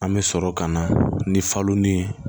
An bɛ sɔrɔ ka na ni falo ni